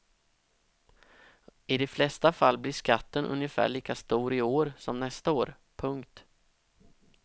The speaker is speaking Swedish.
I de flesta fall blir skatten ungefär lika stor i år som nästa år. punkt